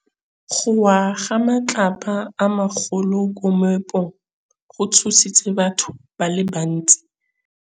Go wa ga matlapa a magolo ko moepong go tshositse batho ba le bantsi.